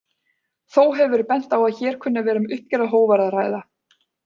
Þó hefur verið bent á að hér kunni að vera um uppgerðar hógværð að ræða.